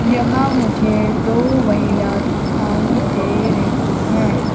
यहां मुझे दो महिला दिखाई दे रही है।